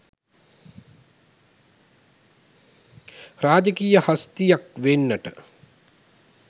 රාජකීය හස්තියෙක් වෙන්නට